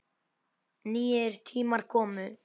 Nýir tímar komu.